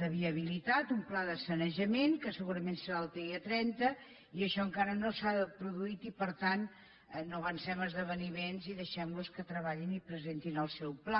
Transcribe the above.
de viabilitat un pla de saneja·ment que segurament serà el dia trenta i això encara no s’ha produït i per tant no avancem esdeveniments i deixem·los que treballin i presentin el seu pla